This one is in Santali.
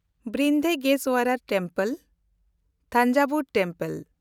ᱵᱨᱤᱦᱚᱫᱮᱥᱥᱚᱨ ᱴᱮᱢᱯᱮᱞ (ᱛᱟᱱᱡᱟᱵᱷᱩᱨ ᱢᱩᱱᱫᱤᱞ)